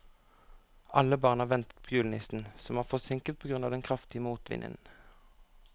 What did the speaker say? Alle barna ventet på julenissen, som var forsinket på grunn av den kraftige motvinden.